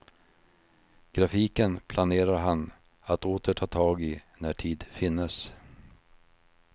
Grafiken planerar han att åter ta tag i när tid finnes.